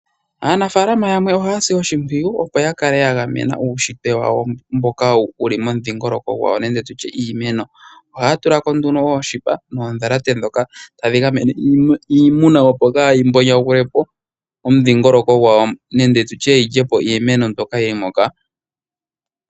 Aanafaalama yamwe oha si oshimpwiyu, opo ya kale ya gamena uushitwe wawo mboka wuli momudhingoloko gwawo nenge iimeno. Ohaa tula ko nduno ooshipe noondhalate dhoka tadhi gamene kiimuna opo kaayi yonagule po omudhingoloko gwawo, nenge yi lye po iimeno mbyoka yili moka.